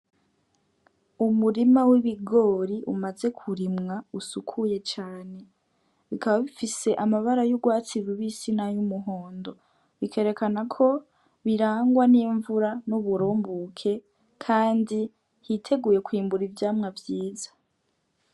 Umurima w'ibigori umaze kurimwa usukuye cane ukaba bikaba bifise amabara y'urwatsi rubisi nay’umuhondo , bikerekana ko birangwa n'imvura n'uburunguke kandi yiteguye kwimbur'ivyamwa vyiza.